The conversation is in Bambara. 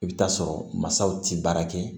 I bɛ t'a sɔrɔ mansaw ti baara kɛ